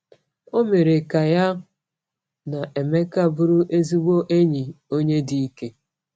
O mere ka ya na Emeka bụrụ ezigbo enyi, onye dị ike.